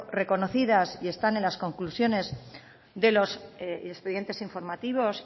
reconocidas y están en las conclusiones de los expedientes informativos